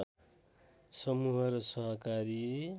समूह र सहकारी